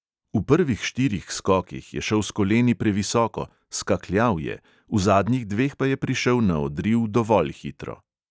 V prvih štirih skokih je šel s koleni previsoko, "skakljal je", v zadnjih dveh pa je prišel na odriv dovolj hitro.